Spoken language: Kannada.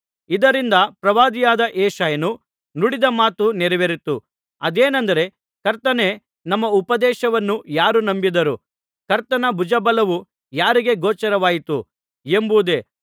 ಇದರಿಂದ ಪ್ರವಾದಿಯಾದ ಯೆಶಾಯನು ನುಡಿದ ಮಾತು ನೆರವೇರಿತು ಅದೇನೆಂದರೆ ಕರ್ತನೇ ನಮ್ಮ ಉಪದೇಶವನ್ನು ಯಾರು ನಂಬಿದರು ಕರ್ತನ ಭುಜ ಬಲವು ಯಾರಿಗೆ ಗೋಚರವಾಯಿತು ಎಂಬುದೇ